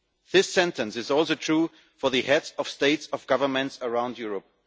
This sentence is also true for the heads of states and governments around Europe.